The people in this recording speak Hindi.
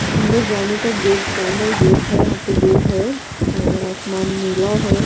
अंदर जाने का गेट चैनल गेट है यहां पे दो है और आसमान नीला है।